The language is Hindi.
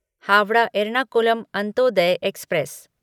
हावड़ा एर्नाकुलम अंत्योदय एक्सप्रेस